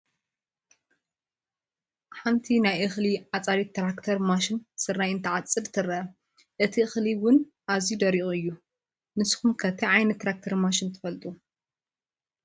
ኣንቲ ናይ እኽሊ ዓፃዲት ትራክተር ማሽን ስርናይ እንትትዓፅድ ትረአ፡፡ እቲ እኽሊ ውንኣዝዩ ደሪቑ እዩ፡፡ ንስኹም ከ እንታይ ዓይነት ትራክተር ማሽን ትፈልጡ?